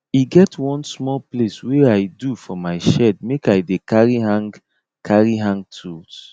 e get one small place wey i do for my shed make i dey carry hang carry hang tools